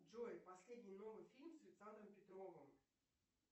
джой последний новый фильм с александром петровым